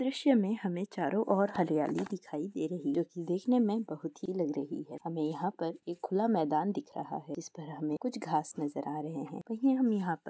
दृश्य में हमें चारों ओर हरियाली दिखाई दे रही जो की देखने में बहुत ही लग रही है हमें यहां पर एक खुला मैदान दिख रहा है इस पर हमें कुछ घास नजर आ रहे हैं कहीं हम यहां पर--